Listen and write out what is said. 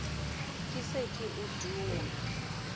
ke se ke o dungwa